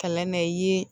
Kalan na i ye